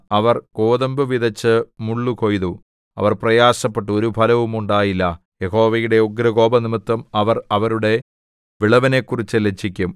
അവർ ഗോതമ്പു വിതച്ച് മുള്ളു കൊയ്തു അവർ പ്രയാസപ്പെട്ടു ഒരു ഫലവും ഉണ്ടായില്ല യഹോവയുടെ ഉഗ്രകോപംനിമിത്തം അവർ അവരുടെ വിളവിനെക്കുറിച്ച് ലജ്ജിക്കും